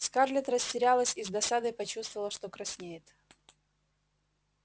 скарлетт растерялась и с досадой почувствовала что краснеет